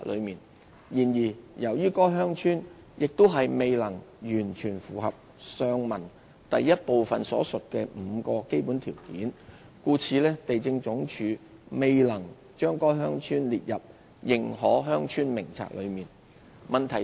然而，由於該鄉村亦未能完全符合上文第一部分所述的5個基本條件，故地政總署未能將該鄉村列入《認可鄉村名冊》內。